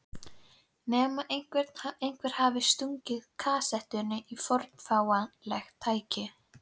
Nema einhver hafi stungið kasettu í fornfálegt tækið.